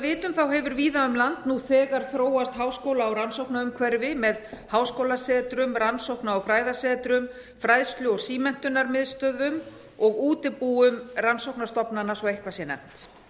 vitum hefur víða um land nú þegar þróast háskóla og rannsóknaumhverfi með háskólasetrum rannsókna og fræðasetrum fræðslu og símenntunarmiðstöðvum og útibúum rannsóknastofnana svo eitthvað sé nefnt